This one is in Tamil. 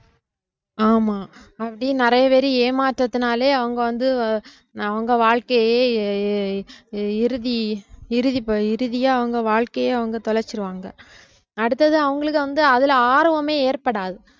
ஆமா அப்படி நிறைய பேரு ஏமாற்றத்தினாலே அவுங்க வந்து அவுங்க வாழ்க்கையே இறுதி இறுதி~ போ~ இறுதியா அவுங்க வாழ்க்கையே அவுங்க தொலைச்சிருவாங்க அடுத்தது அவங்களுக்கு வந்து அதுல ஆர்வமே ஏற்படாது